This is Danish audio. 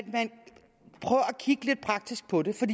kigge lidt praktisk på det for